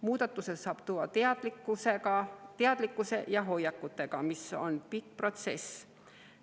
Muudatuse saab luua teadlikkuse parandamisega ja hoiakute muutmisega, mis on pikk protsess.